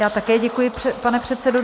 Já také děkuji, pane předsedo.